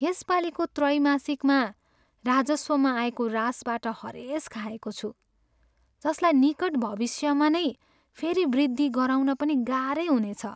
यसपालीको त्रैमासिकमा राजस्वमा आएको ह्रासबाट हरेस खाएको छु, जसलाई निकट भविष्यमा नै फेरी वृद्धि गराउन पनि गाह्रै हुनेछ।